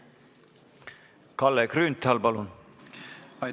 Kalle Grünthal, palun!